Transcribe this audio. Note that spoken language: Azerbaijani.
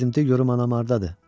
Əzizim de görüm anam hardadır?